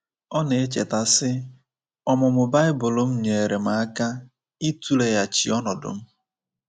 Ọ na-echeta, sị: “Ọmụmụ Baịbụl m nyeere m aka ịtụleghachi ọnọdụ m.